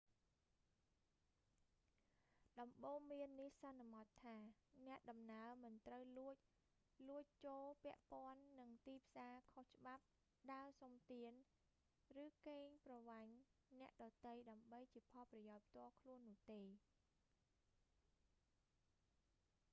ដំបូន្មាននេះសន្មត់ថា អ្នកដំណើរមិនត្រូវលួច លួចចូល ពាក់ព័ន្ធនឹងទីផ្សារខុសច្បាប់ ដើរសុំទាន ឬកេងប្រវ័ញ្ចអ្នកដទៃដើម្បីជាផលប្រយោជន៍ផ្ទាល់ខ្លួននោះទេ